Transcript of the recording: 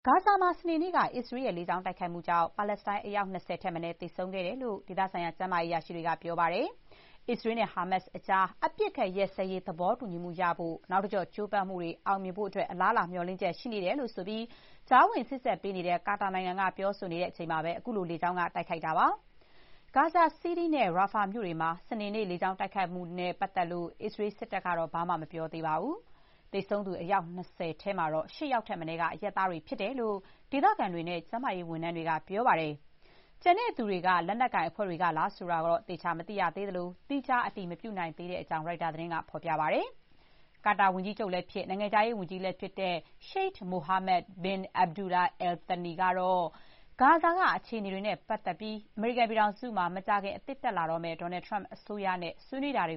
ဂါဇာမှာ စနေနေ့က အစ္စရေးရဲ့ လေ ကြောင်း တိုက်ခိုက်မှုကြောင့် ပါလက်စတိုင်း အယောက် ၂၀ ထက်မနည်း သေဆုံးခဲ့တယ်လို့ ဒေသဆိုင်ရာ ကျန်းမာရေး အရာရှိတွေက ပြောပါတယ်။ အစ္စရေးနဲ့ ဟာမတ်စ်ကြား အပစ်အခတ် ရပ်စဲရေး သဘောတူညီမှုရဖို့ နောက်တကျော့ ကြိုးပမ်းမှုတွေ အောင်မြင်ဖို့ အလားအလာ မျှော်လင့်ချက် ရှိနေတယ်ဆိုပြီး ကြားဝင် စေ့စပ်ပေးနေတဲ့ ကာတာနိုင်ငံက ပြောဆိုနေချိန်မှာပဲ အခုလို လေကြောင်းက တိုက်ခိုက်ခဲ့တာပါ။ ဂါဇာ စီးတီးနဲ့ ရာဖာမြို့တွေမှာ စနေနေ့ လေကြောင်း တိုက်ခိုက်မှုတွေနဲ့ အစ္စရေး စစ်တပ်ကတော့ ဘာမှမပြောသေးပါဘူး။ သေဆုံးသူ အယောက် ၂၀ ထဲမှာ ၈ ယောက်ထက်မနည်းက အရပ်သားတွေ ဖြစ်တယ်လို့ ဒေသခံတွေနဲ့ ကျန်းမာရေး ဝန်ထမ်းတွေက ပြောပါတယ်။ ကျန်တဲ့သူတွေက လက်နက်ကိုင်အဖွဲ့တွေကလား ဆိုတာလည်း သေချာတော့ မသိရသေးသလို၊ သီးခြား အတည်မပြုနိုင်သေးကြောင်း ရိုက်တာသတင်းဌာနက ပြောပါတယ်။ ကာတာ ဝန်ကြီးချုပ်လည်းဖြစ်၊ နိုင်ငံခြားရေးဝန်ကြီးလည်း ဖြစ်တဲ့ ရှိုက် မိုဟာမက် ဘင် အက်ဘ်ဒူလာ အယ်လ် သနီ − Sheikh Mohammed bin Abdulrahman Al Thani ကတော့ ဂါဇာက အခြေအနေတွေနဲ့ ပတ်သက်ပြီး အမေရိကန်မှာ မကြာခင် အသစ်တက်လာတော့မယ့် Donald Trump အစိုးရနဲ့ ဆွေးနွေးတာတွ